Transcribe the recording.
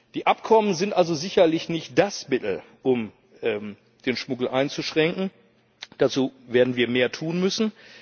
Die Abkommen sind also sicherlich nicht das Mittel, um den Schmuggel einzuschränken, dafür werden wir mehr tun müssen.